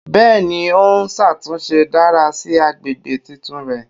Bẹ́ẹ̀ni, o n ṣatunṣe dara si agbegbe titun rẹ.